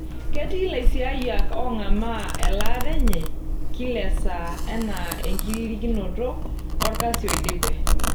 Ketii laisiayiak ong'amaa elataa enye kila esaa ana enkiririkinoto olkasi oidipe.